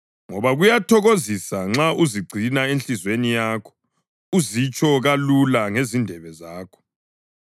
ngoba kuyathokozisa nxa uzigcina enhliziyweni yakho, uzitsho kalula ngezindebe zakho.